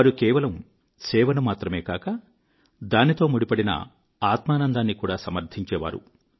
వారు కేవలం సేవను మాత్రమే కాక దానితో ముడిపడిన ఆత్మానందాన్ని కూడా సమర్థించేవారు